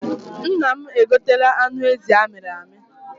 Nna m e gotela anụ ezi amịrị amị.